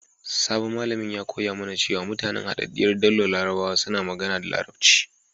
Sabon malamin ya koya mana cewa mutanen Hadaddiyar Daular Larabawa suna magana da Larabci.